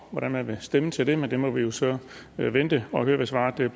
hvordan man vil stemme til det men vi må jo så vente og høre hvad svaret bliver